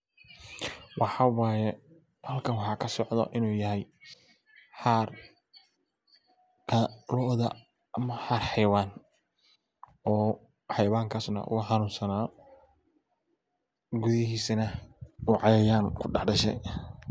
Maxa waye oo halkan kasocda xaar oo ama xaar hayawan halkan kadashe waa cayayan ku dax dashe.